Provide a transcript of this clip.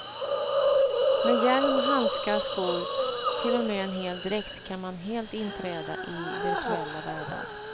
Med hjälm, handskar, skor, till och med en hel dräkt kan man helt inträda i virtuella världar.